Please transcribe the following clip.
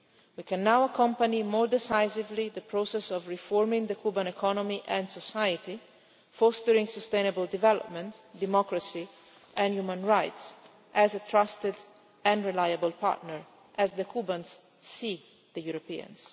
We can now accompany more decisively the process of reforming the Cuban economy and society, fostering sustainable development, democracy and human rights as a trusted and reliable partner, as the Cubans see the Europeans.